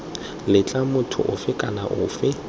letla motho ofe kana ofe